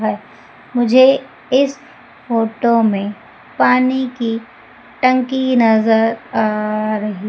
है मुझे इस फोटो में पानी की टंकी नजर आ रही--